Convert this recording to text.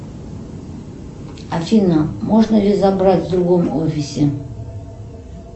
афина можно ли забрать в другом офисе